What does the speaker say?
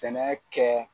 Sɛnɛ kɛ